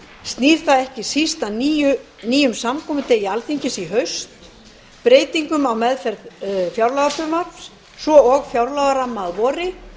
snýr það ekki síst að nýjum samkomudegi alþingis í haust breytingum á meðferð fjárlagafrumvarps svo og fjárlagaramma að vori